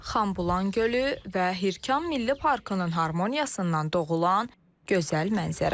Xanbulan gölü və Hirkan Milli Parkının harmoniyasından doğulan gözəl mənzərə.